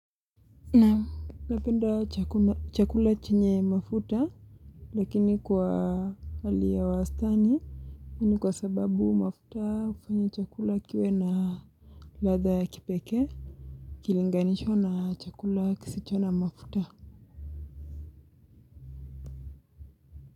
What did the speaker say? Napenda chakula chenye mafuta, lakini kwa hali ya wastani, hii kwa sababu mafuta hufanya chakula kiwe na ladha ya kipekee, ikilinganishwa na chakula kisicho na mafuta.